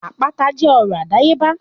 Àpáta jẹ́ ọrọ̀ àdáyébá